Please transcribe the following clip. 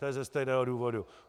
To je ze stejného důvodu.